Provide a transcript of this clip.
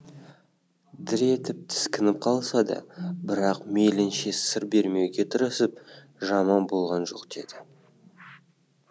дір етіп тіскініп қалса да бірақ мейлінше сыр бермеуге тырысып жаман болған жоқ деді